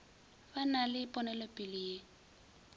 ba na le ponelopele ye